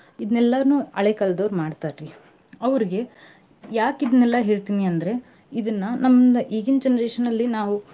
ಇದ್ನೇಲ್ಲಾನು ಹಳೆ ಕಾಲದವ್ರು ಮಾಡ್ತಾರಿ ಅವ್ರಿಗೆ ಯಾಕ್ ಇದ್ನೇಲ್ಲಾ ಹೇಳ್ತೀನೀ ಅಂದ್ರೆ ಇದನ್ನ. ನಮ್ದ ಈಗಿನ generation ನಲ್ಲಿ ನಾವು.